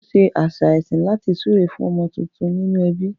Wọ́n ṣe àṣà ẹ̀sìn láti súre fún ọmọ tuntun nínú ẹbí.